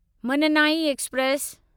Mannai express